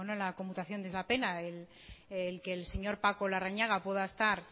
la conmutación de esa pena el que el señor paco larrañaga pueda estar